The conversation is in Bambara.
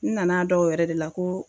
N nana dɔn o yɛrɛ de la ko